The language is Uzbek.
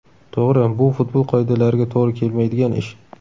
To‘g‘ri, bu futbol qoidalariga to‘g‘ri kelmaydigan ish.